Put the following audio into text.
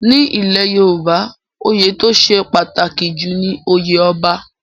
Ní ilẹ̀ Yorùbá, oyè tó ṣe pàtàkì jù ni oyè Ọba.